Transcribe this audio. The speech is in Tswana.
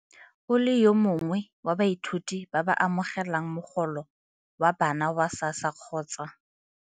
O le yo mongwe wa baithuti ba ba amogelang mogolo wa bana wa SASSA kgotsa.